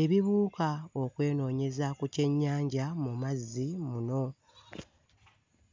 ebibuuka okwenoonyeza ku kyennyanja mu mazzi muno.